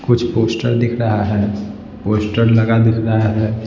कुछ पोस्टर दिख रहा है पोस्टर लगा दिख रहा है।